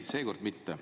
Ei, seekord mitte.